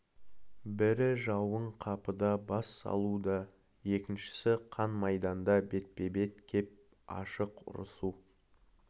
бірі жауын қапыда бас салу да екіншісі қан майданда бетпе-бет кеп ашық ұрысу